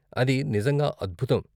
అది నిజంగా అద్భుతం.